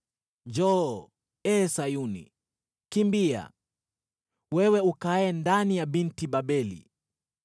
“Njoo, ee Sayuni! Kimbia, wewe ukaaye ndani ya Binti Babeli!”